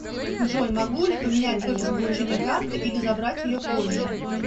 джой могу ли поменять офис получения карты или забрать ее позже